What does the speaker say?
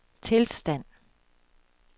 tilstand